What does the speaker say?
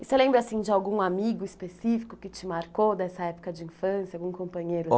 E você lembra assim de algum amigo específico que te marcou dessa época de infância, algum companheiro?